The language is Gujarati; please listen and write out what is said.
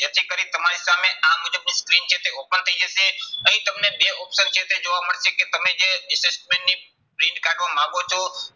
જેથી કરી તમારી સામે આ મુજબની screen જે છે open થઇ જશે. અહીં તમને બે option જે છે જોવા મળશે કે તમે જે assessment ની print કાઢવા માંગો છો